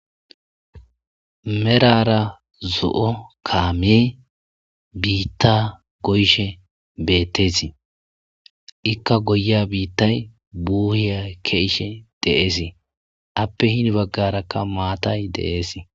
merara zo7o kaame biitta goyshe betteesi ikka goya biittay buuhiya keishe de7eesii appe hini baggarakka maatay deees